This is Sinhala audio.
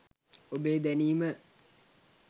ඔබේ දැනීම